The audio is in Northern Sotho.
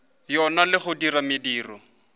yona le go dira mediro